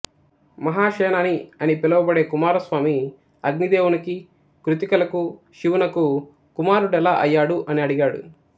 మహాసేనాని అని పిలువబడే కుమారస్వామి అగ్నిదేవునికి కృత్తికలకు శివునకు కుమారుడెలా అయ్యాడు అని అడిగాడు